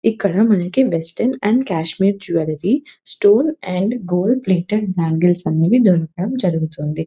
ఇక్కడ మనకి western and Kashmir jewellery stone and gold plated bangles అనేవి దొరుకదం జరుగుతుంది .